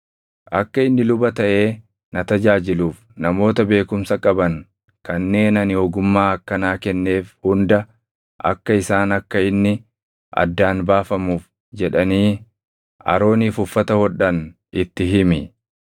Akka inni luba taʼee na tajaajiluuf namoota beekumsa qaban kanneen ani ogummaa akkanaa kenneef hunda akka isaan akka inni addaan baafamuuf jedhanii Arooniif uffata hodhan itti himi.